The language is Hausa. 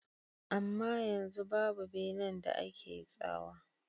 Amma yanzu babu benan da ake tsawa.